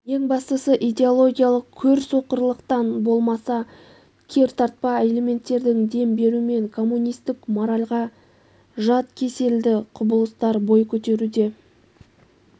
ең бастысы идеологиялық көрсоқырлықтан болмаса кертартпа элементтердің дем берумен коммунистк моральға жат кеселді құбылыстар бой көтеруде